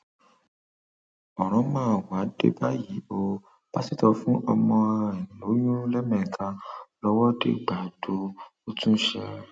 ó ní gbàrà táwọn débẹ ni àwọn fúlàní darandaran ọhún kọjú ìjà sáwọn tí wọn sì kápá àwọn ọlọpàá ọhún